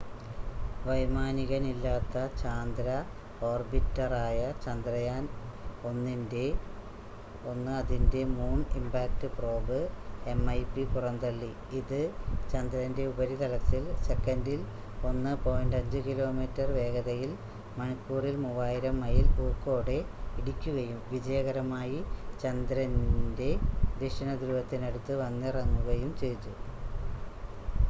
വൈമാനികനില്ലാത്ത ചാന്ദ്ര ഓർബിറ്ററായ ചന്ദ്രയാൻ- 1 അതിന്റെ മൂൺ ഇമ്പാക്ട് പ്രോബ് എംഐപി പുറന്തള്ളി ഇത് ചന്ദ്രന്റെ ഉപരിതലത്തിൽ സെക്കൻഡിൽ 1.5 കിലോമീറ്റർ വേഗതയിൽ മണിക്കൂറിൽ 3000 മൈൽ ഊക്കോടെ ഇടിക്കുകയും വിജയകരമായി ചന്ദ്രന്റെ ദക്ഷിണ ധ്രുവത്തിന് അടുത്ത് വന്നിറങ്ങുകയും ചെയ്തു